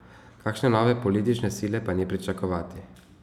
Kakšne nove politične sile pa ni pričakovati.